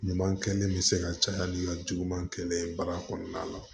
Ɲuman kɛlen bɛ se ka caya ni ka juguman kɛlɛ ye baara kɔnɔna la